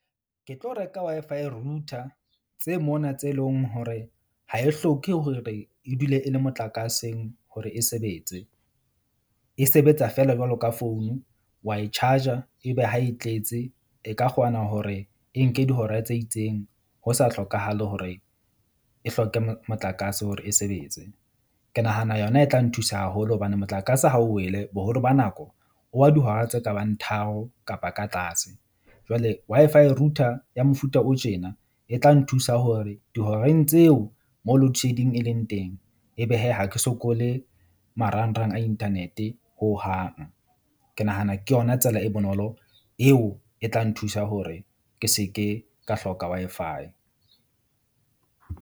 Ke tlo reka Wi-Fi router tse mona tse leng hore ha e hloke hore e dule e le motlakaseng hore e sebetse. E sebetsa feela jwalo ka founu wa e charger ebe ha e tletse e ka kgona hore e nke dihora tse itseng ho sa hlokahale hore e hloke motlakase hore e sebetse. Ke nahana yona e tla nthusa haholo hobane motlakase ha o wele boholo ba nako o wa dihora tse kabang tharo kapa ka tlase. Jwale Wi-Fi router ya mofuta o tjena e tla nthusa hore dihoreng tseo mo loadshedding e leng teng. Ebe hee ha ke sokole marangrang a internet-e hohang. Ke nahana ke yona tsela e bonolo, eo e tla nthusa hore ke se ke ka hloka Wi-Fi.